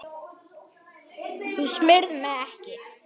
Þú smyrð mig ekki.